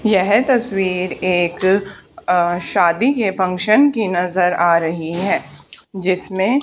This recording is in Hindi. यह तस्वीर एक अ शादी के फंक्शन की नजर आ रही है जिसमें--